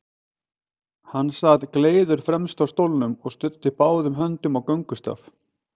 Hann sat gleiður fremst á stólnum og studdi báðum höndum á göngustaf.